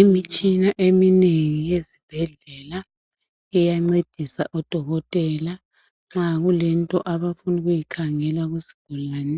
Imitshina eminengi ezibhedlela iyancedisa odokotela nxa kulento abafuna ukuyikhangela kusigulane